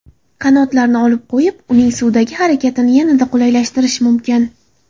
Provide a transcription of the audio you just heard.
Qanotlarni olib qo‘yib, uning suvdagi harakatini yanada qulaylashtirish mumkin.